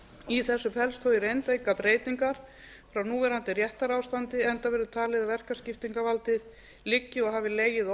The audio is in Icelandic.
í þessu felst þó í reynd engar breytingar frá núverandi réttarástandi enda verður talið að verkaskiptingarvaldið liggi og hafi legið